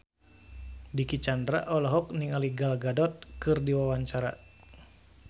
Dicky Chandra olohok ningali Gal Gadot keur diwawancara